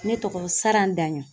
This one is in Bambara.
Ne tɔgɔ SARAN DAƝƆN.